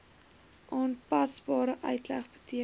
aanpasbare uitleg beteken